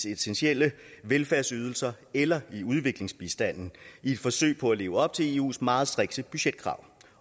i essentielle velfærdsydelser eller i udviklingsbistanden i et forsøg på at leve op til eus meget strikse budgetkrav